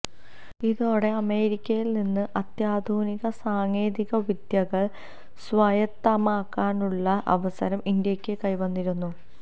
ഇതോടെ അമേരിക്കയിൽ നിന്ന് അത്യാധുനിക സാങ്കേതിക വിദ്യകൾ സ്വായത്തമാക്കാനുള്ള അവസരം ഇന്ത്യയ്ക്ക് കൈവന്നിരുന്നു